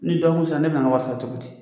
Ni dɔgɔkun sera ne bɛ na n ka wari sara cogo di.